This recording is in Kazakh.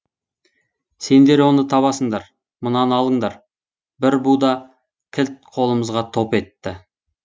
сендер оны табасыңдар мынаны алыңдар бір буда кілт қолымызға топ етті